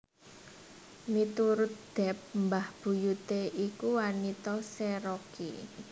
Miturut Depp mbah buyuté iku wanita Cherokee